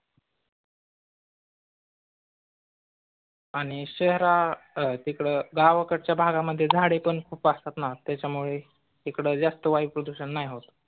आणि शहरात तिकडे गावाकडच्या भागामध्ये झाडे पण खूप असतात ना त्याच्यामुळे तिकड जास्त वायू प्रदूषण नाही होत.